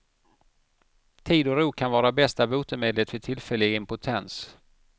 Tid och ro kan vara bästa botemedlet vid tillfällig impotens.